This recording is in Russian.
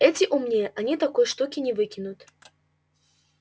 эти умнее они такой штуки не выкинут